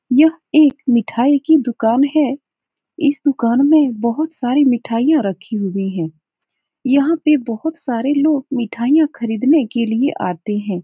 यह एक मिठाई की दुकान है। इस दुकान में बोहोत सारी मिठाइयां रखी हुई हैं। यहाँ पे बोहोत सारे लोग मिठाइयां खरीदने के लिए आते हैं।